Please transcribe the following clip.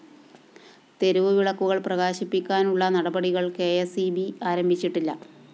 തെരുവുവിളക്കുകള്‍ പ്രകാശിപ്പിക്കാനുള്ള നടപടികള്‍ കെ സ്‌ ഇ ബി ആരംഭിച്ചിട്ടില്ല